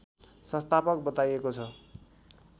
संस्थापक बताइएको छ